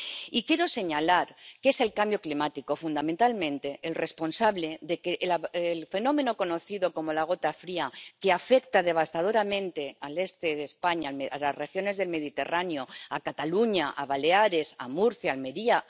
Y quiero señalar que es el cambio climático, fundamentalmente, el responsable del fenómeno conocido como la gota fría, que afecta devastadoramente al este de España, a las regiones del Mediterráneo —a Cataluña, a Baleares, a Murcia, a Almería